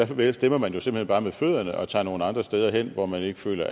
for der stemmer man jo simpelt hen bare med fødderne og tager nogle andre steder hen hvor man ikke føler